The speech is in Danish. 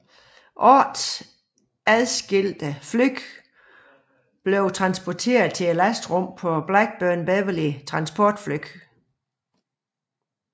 Otte adskilte fly blev transporteret i lastrummet på Blackburn Beverley transportfly